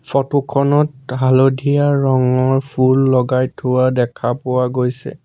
Photo খনত হালধীয়া ৰঙৰ ফুল লগাই থোৱা দেখা পোৱা গৈছে।